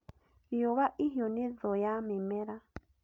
Riũwa ihiũ nĩ thũũ ya mĩmera